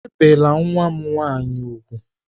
Ebìla nwa m nwanyị úgwù!